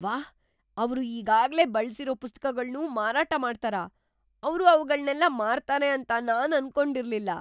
ವಾಹ್! ಅವ್ರು ಈಗಾಗ್ಲೇ ಬಳ್ಸಿರೋ ಪುಸ್ತಕಗಳ್ನೂ ಮಾರಾಟ ಮಾಡ್ತಾರಾ? ಅವ್ರು ಅವ್ಗಳ್ನೆಲ್ಲ ಮಾರ್ತಾರೆ ಅಂತ ನಾನ್ ಅನ್ಕೊಂಡಿರ್ಲಿಲ್ಲ.